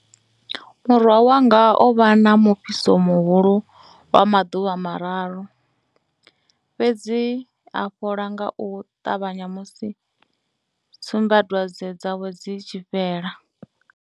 Murwa wanga o vha na mufhiso muhulu lwa maḓuvha mararu, fhedzi a fhola nga u ṱavhanya musi tsumbadwadze dzawe dzi tshi fhela.